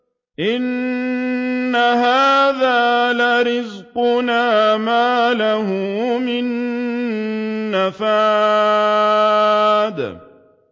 إِنَّ هَٰذَا لَرِزْقُنَا مَا لَهُ مِن نَّفَادٍ